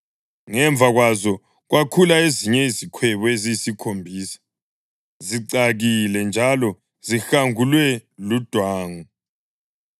Ngemva kwazo kwakhula ezinye izikhwebu eziyisikhombisa, zicakile njalo zihangulwe ludwangu.